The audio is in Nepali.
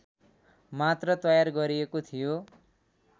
मात्र तयार गरिएको थियो